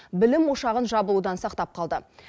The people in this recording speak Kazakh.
білім ошағын жабылудан сақтап қалды